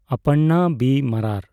ᱚᱯᱟᱨᱬᱟ B. ᱢᱟᱨᱟᱨ